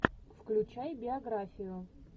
включай биографию